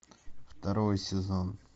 второй сезон